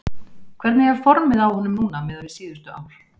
Hvernig er formið á honum núna miðað við síðustu ár?